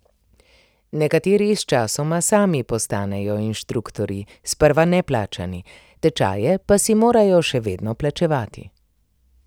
Nekateri sčasoma sami postanejo inštruktorji, sprva neplačani, tečaje pa si morajo še vedno plačevati.